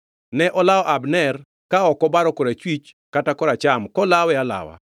Ne olawo Abner, ka ok obaro korachwich kata koracham kolawe alawa.